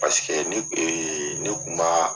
paseke ni ee ne kun m'aa